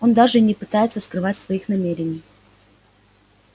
он даже и не пытается скрывать своих намерений